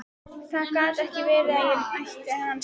Það gat ekki verið að ég ætti hann skilið.